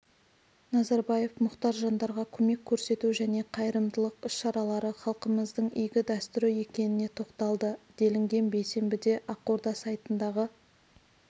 назарбаев мұқтаж жандарға көмек көрсету және қайырымдылық іс-шаралары халқымыздың игі дәстүрі екеніне тоқталды делінген бейсенбіде ақорда сайтындағы